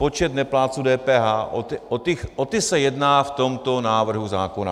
Počet neplátců DPH, o ty se jedná v tomto návrhu zákona.